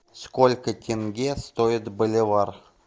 сколько тенге стоит боливар